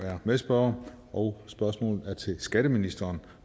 er medspørger og spørgsmålet er til skatteministeren